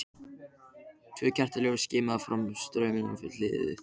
Tvö kertaljós og skíman frá staurnum við hliðið.